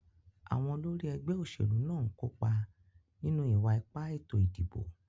Àwon olórí ẹgbẹ́ òṣèlú náà ń kópa nínú ìwa-ipá ètò ìdìbò.